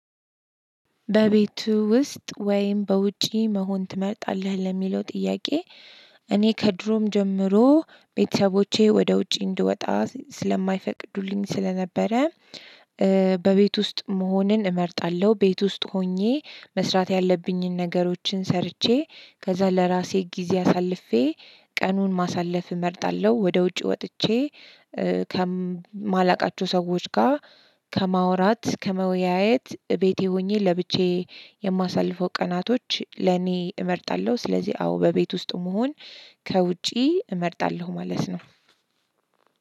"በቤቱ ውስጥ ወይም በውጪ መሆን ትመርጣለህ?" ለሚለው ጥያቄ፣ እኔ ከድሮም ጀምሮ ቤተሰቦቼ ወደ ውጪ እንድወጣ ስለማይፈቅዱልኝ ስለነበረ በቤት ውስጥ መሆንን እመርጣለሁ። ቤት ውስጥ ሆኜ መስራት ያለብኝን ነገሮችን ሰርቼ ከዛ ለራሴ ጊዜ አሳልፌ ቀኑን ማሳለፍ እመርጣለሁ። ወደ ውጪ ወጥቼ ከማላውቃቸው ሰዎች ጋር ከማውራት ከመወያየት ቤቴ ሆኜ ለብቻዬ የማሳልፈው ቀናቶች ለኔ እመርጣለሁ። ስለዚህ አዎ በቤት ውስጥ መሆን ከውጪ እመርጣለሁ ማለት ነው።